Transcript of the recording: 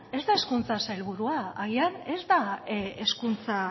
ez da hezkuntza sailburua agian ez da hezkuntza